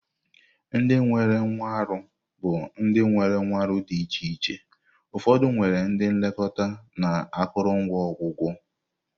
Ndị nwere nkwarụ bụ ndị nwere nkwarụ di iche iche, ụfọdụ nwere ndị nlekọta na akụrụngwa ọgwụgwọ.